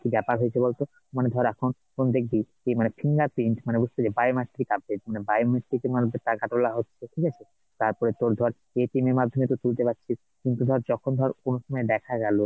কি ব্যাপার হয়েছে বল তো ? মানে ধর এখন তুই দেখবি কি মানে, fingerprint মানে বুঝতে পেরেছিস biometric update মানে biometric এর মাধ্যমে টাকা তোলা হচ্ছে ঠিক আছে, তারপরে তোর ধর এর মাধ্যমে তুই তুলতে পারছিস কিন্তু ধর যখন ধর, কোনসময় দেখা গেলো